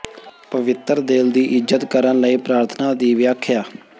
ਪਵਿੱਤਰ ਦਿਲ ਦੀ ਇੱਜ਼ਤ ਕਰਨ ਲਈ ਪ੍ਰਾਰਥਨਾ ਦੀ ਵਿਆਖਿਆ